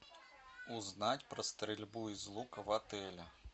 узнать про стрельбу из лука в отеле